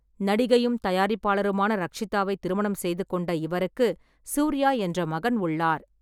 நடிகையும் தயாரிப்பாளருமான ரக்ஷிதாவை திருமணம் செய்து கொண்ட இவருக்கு சூர்யா என்ற மகன் உள்ளார்.